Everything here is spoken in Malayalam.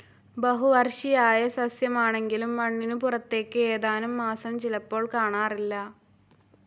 ബഹുവർഷിയായ സസ്യമാണെങ്കിലും മണ്ണിനു പുറത്തേക്ക് ഏതാനം മാസം ചിലപ്പോൾ കാണാറില്ല.